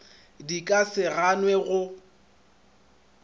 di ka se ganwe go